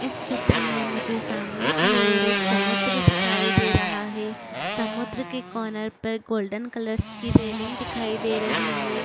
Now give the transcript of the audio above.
इस चित्र में मुझे सामने की ओर एक समुद्र दिखाई दे रहा हे समुद्र के कोनार पर गोल्डनस कलर की रेलिंग दिखाई दे रही हे।